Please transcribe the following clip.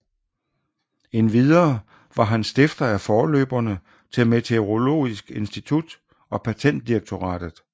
Endvidere var han stifter af forløberne til Meteorologisk Institut og Patentdirektoratet